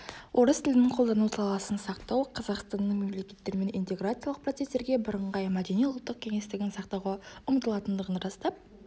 орыс тілін қолдану саласын сақтау қазақстанның мемлекеттерімен интеграциялық процестерге бірыңғай мәдени-ұлттық кеңістігін сақтауға ұмытылатындығын растап